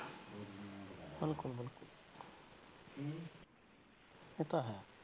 ਬਿਲਕੁਲ ਬਿਲਕੁਲ ਇਹ ਤਾਂ ਹੈ